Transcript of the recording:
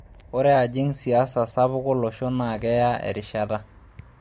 Ore ajing' siasa sapuk olosho naa keya erishata.